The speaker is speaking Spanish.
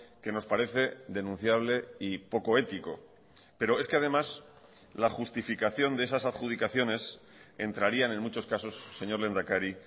que nos parece denunciable y poco ético pero es que además la justificación de esas adjudicaciones entrarían en muchos casos señor lehendakari